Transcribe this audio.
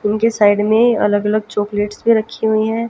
उनके साइड में अलग अलग चॉकलेट्स रखी हुई है।